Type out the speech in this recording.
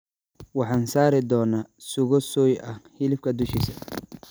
Waxaan saari doonaa suugo soy ah hilibka dushiisa.